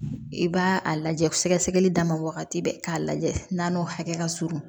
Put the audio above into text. I b'a a lajɛ sɛgɛsɛgɛli dama wagati bɛɛ k'a lajɛ n'a n'o hakɛ ka surun